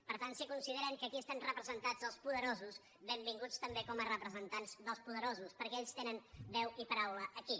per tant si consideren que aquí estan representats els poderosos benvinguts també com a representants dels poderosos perquè ells tenen veu i paraula aquí